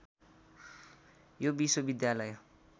यो विश्वविद्यालय